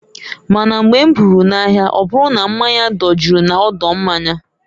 Ma na mgbe m ruru na ahịa ọbụru na mmanya dojuru na odo mmanya.